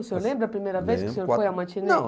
O senhor lembra a primeira vez que foi ao matinê? Não